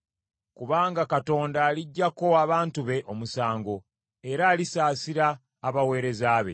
Kubanga Katonda aliggyako abantu be omusango, era alisaasira abaweereza be.